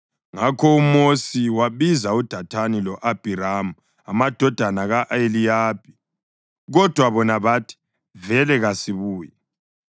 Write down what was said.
Ngakho uMosi wabiza uDathani lo-Abhiramu amadodana ka-Eliyabi. Kodwa bona bathi, “Vele kasibuyi!